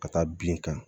Ka taa bin kan